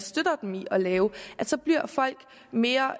støtter dem i at lave så bliver folk mere